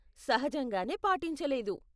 సహజంగానే పాటించలేదు.